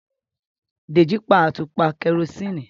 Deji pa atupa kerosene.